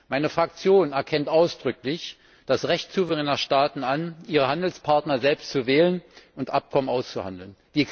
Meine Fraktion erkennt ausdrücklich das Recht souveräner Staaten an, ihre Handelspartner selbst zu wählen und Abkommen auszuhandeln.